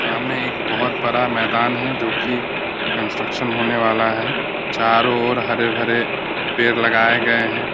सामने एक बहुत बड़ा मैदान है जो कि कंस्ट्रक्शन होने वाला है। चारों ओर हरे-भरे पेड़ लगाए गए हैं।